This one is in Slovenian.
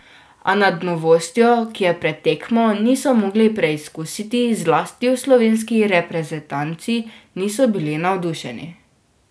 A nad novostjo, ki je pred tekmo niso mogli preizkusiti, zlasti v slovenski reprezentanci niso bili navdušeni.